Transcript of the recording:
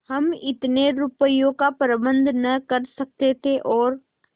हम इतने रुपयों का प्रबंध न कर सकते थे और